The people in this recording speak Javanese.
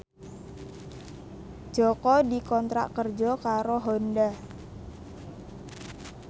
Jaka dikontrak kerja karo Honda